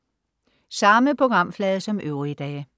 Samme programflade som øvrige dage